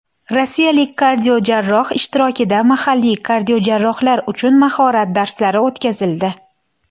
Rossiyalik kardiojarroh ishtirokida mahalliy kardiojarrohlar uchun mahorat darslari o‘tkazildi.